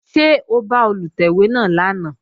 Ṣé o bá Olùtẹ̀wé náà lánàá?